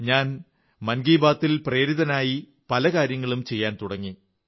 ഞാൻ മൻ കീ ബാത്ത്് ൽ പ്രേരിതനായി പല കാര്യങ്ങളും ചെയ്യാൻ തുടങ്ങി